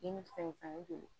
Ni fɛn ne donna